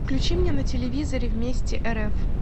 включи мне на телевизоре вместе рф